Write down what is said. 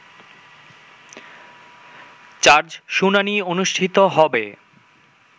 charge শুনানি অনুষ্ঠিত হবে